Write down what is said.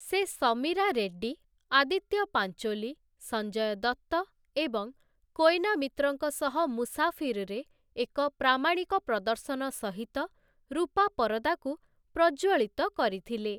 ସେ ସମୀରା ରେଡ୍ଡୀ, ଆଦିତ୍ୟ ପାଞ୍ଚୋଲି, ସଞ୍ଜୟ ଦତ୍ତ ଏବଂ କୋଏନା ମିତ୍ରଙ୍କ ସହ ମୁସାଫିରରେ ଏକ ପ୍ରାମାଣିକ ପ୍ରଦର୍ଶନ ସହିତ ରୂପା ପରଦାକୁ ପ୍ରଜ୍ୱଳିତ କରିଥିଲେ ।